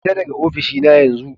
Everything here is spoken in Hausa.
Fita daga ofishina yanzu!